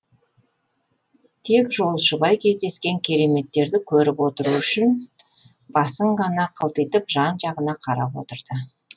тек жолшыбай кездескен кереметтерді көріп отыру үшін басын ғана қылтитып жан жағына қарап отырды